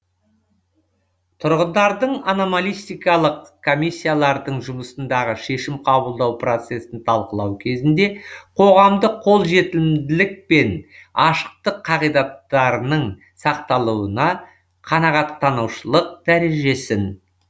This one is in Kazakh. тұрғындардың ономалистикалық комиссиялардың жұмысындағы шешім қабылдау процесін талқылау кезінде қоғамдық қолжетімділік пен ашықтық қағидаттарының сақталуына қанағаттанушылық дәрежесін